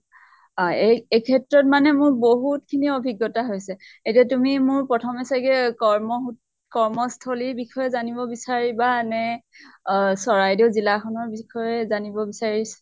এই ক্ষেত্ৰত মানে মোৰ বহুত খিনি অভিজ্ঞতা হৈছে । এতিয়া তুমি মোৰ প্ৰথম চাগে কৰ্ম সু কৰ্মস্থলী জানিব বিচাৰিবা নে আ নে চৰাইদেউ জিলা খনৰ বিষয়ে জানিব বিচাৰিছ